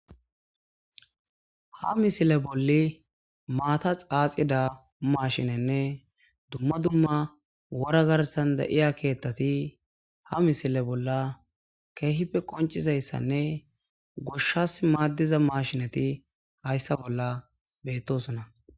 Ha misile bolli maata xaaxida mashinenne dumma dumma wora garssan da'iya keeththa ha misile bolla keehippe qoncizayssanne goshas maaddiza mashinati hayssa bolla beettosona.